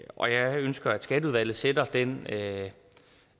og jeg ønsker at skatteudvalget sætter den